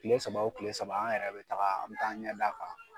Tile saba o tile saba an yɛrɛ bɛ taga, an bɛ taa an ɲɛ d'a kan.